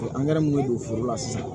Angɛrɛ mun be don foro la sisan